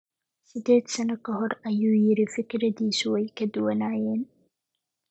Siddeed sano ka hor, ayuu yidhi, fikirradiisu way ka duwanaayeen.